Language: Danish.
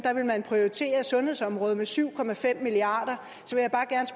vil man prioritere sundhedsområdet med syv milliard